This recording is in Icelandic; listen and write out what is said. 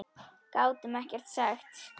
Gátum ekkert sagt.